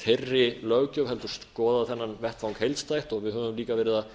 þeirri löggjöf heldur skoða þennan vettvang heildstætt við höfum líka verið að